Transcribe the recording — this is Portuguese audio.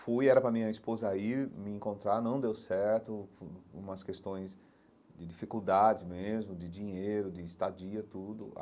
Fui, era para a minha esposa ir me encontrar, não deu certo, hum umas questões de dificuldades mesmo, de dinheiro, de estadia, tudo.